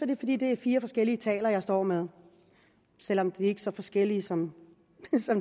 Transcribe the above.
det fordi det er fire forskellige taler jeg står med selv om de ikke er så forskellige som